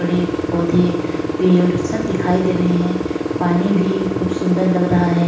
बड़े पौधे पेड सब दिखायी दे रहा है पानी भी खूब सुन्दर लग रह है।